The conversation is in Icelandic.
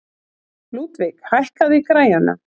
Ludvig, hækkaðu í græjunum.